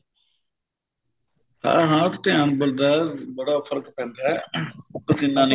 ਹਾਂ ਹਾਂ ਧਿਆਨ ਬਣਦਾ ਬੜਾ ਫਰਕ ਪੈਂਦਾ ਪਸੀਨਾ